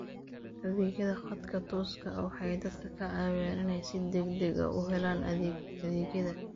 Adeegyada khadka tooska ah waxay dadka ka caawiyaan inay si degdeg ah u helaan adeegyada.